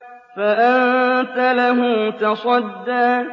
فَأَنتَ لَهُ تَصَدَّىٰ